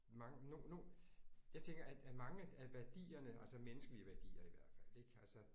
Mange jeg tænker at at mange af værdierne altså menneskelige værdier i hvert fald ik altså